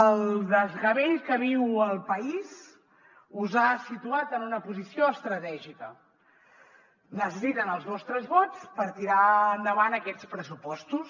el desgavell que viu el país us ha situat en una posició estratègica necessiten els vostres vots per tirar endavant aquests pressupostos